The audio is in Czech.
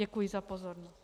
Děkuji za pozornost.